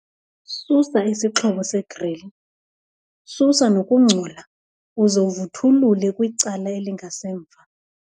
Susa isixhobo segril, susa nokungcola uze vuthulule kwicala elingasemva.